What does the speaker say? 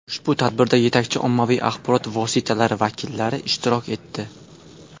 Ushbu tadbirda yetakchi ommaviy axborot vositalari vakillari ishtirok etdi.